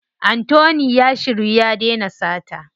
Anthony ya shiryu ya dena sata.